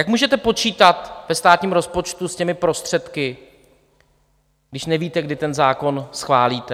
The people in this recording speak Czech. Jak můžete počítat ve státním rozpočtu s těmi prostředky, když nevíte, kdy ten zákon schválíte?